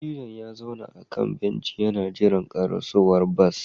Dattijon ya zauna a kan benci yana jiran karasowar bas